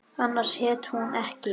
Annars hét hún ekki